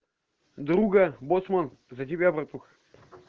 друган боцман за тебя братуха